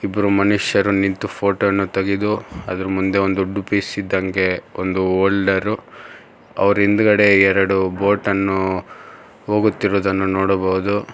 ಇಬ್ಬರು ಮನುಷ್ಯರು ನಿಂತು ಫೋಟೋ ವನ್ನು ತೆಗೆದು ಅದರ ಮುಂದೆ ಒಂದು ದೊಡ್ದು ಪಿಸ್ ಇದ್ದಂಗೆ ಒಂದು ಹೋಲ್ಡರ್ ಅವರಿಂದ್ಗಡೆ ಎರಡು ಬೋಟನ್ನು ಹೋಗುತ್ತಿರುವುದನ್ನು ನೋಡಬಹುದು.